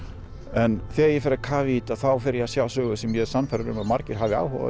en þegar ég fer að kafa í þetta fer ég að sjá sögu sem ég er sannfærður um að margir hafi áhuga á